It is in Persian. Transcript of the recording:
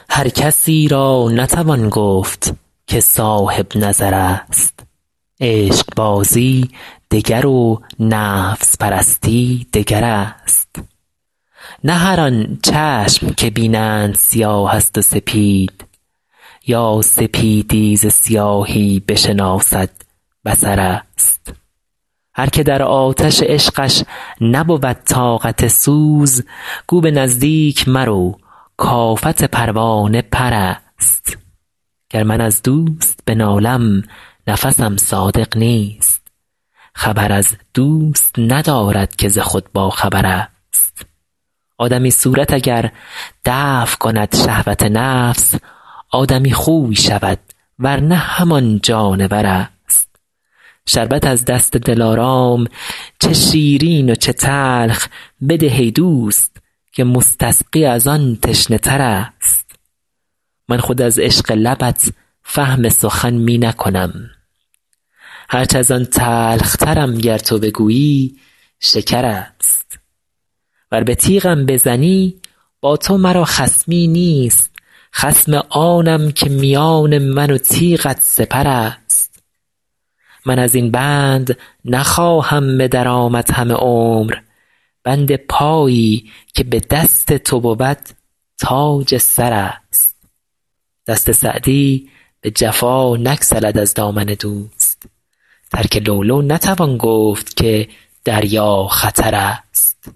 هر کسی را نتوان گفت که صاحب نظر است عشقبازی دگر و نفس پرستی دگر است نه هر آن چشم که بینند سیاه است و سپید یا سپیدی ز سیاهی بشناسد بصر است هر که در آتش عشقش نبود طاقت سوز گو به نزدیک مرو کآفت پروانه پر است گر من از دوست بنالم نفسم صادق نیست خبر از دوست ندارد که ز خود باخبر است آدمی صورت اگر دفع کند شهوت نفس آدمی خوی شود ور نه همان جانور است شربت از دست دلارام چه شیرین و چه تلخ بده ای دوست که مستسقی از آن تشنه تر است من خود از عشق لبت فهم سخن می نکنم هرچ از آن تلخترم گر تو بگویی شکر است ور به تیغم بزنی با تو مرا خصمی نیست خصم آنم که میان من و تیغت سپر است من از این بند نخواهم به در آمد همه عمر بند پایی که به دست تو بود تاج سر است دست سعدی به جفا نگسلد از دامن دوست ترک لؤلؤ نتوان گفت که دریا خطر است